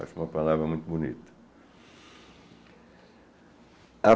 Acho uma palavra muito bonita.